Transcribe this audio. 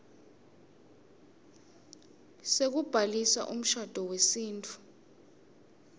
sekubhalisa umshado wesintfu